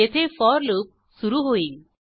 येथे for loop सुरू होईल